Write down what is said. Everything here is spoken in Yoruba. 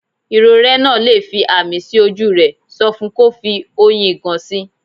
Irorẹ́ náà le fi ààmì sí ojú rẹ̀, sọ fun kò fi oyin ìgàn sí.